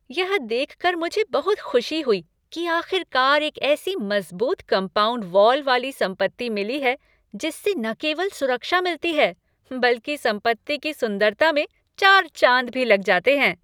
यह देखकर मुझे बहुत खुशी हुई कि आख़िरकार एक ऐसी मजबूत कम्पाउंड वॉल वाली संपत्ति मिली है जिससे न केवल सुरक्षा मिलती है बल्कि संपत्ति की सुंदरता में चार चांद भी लग जाते हैं।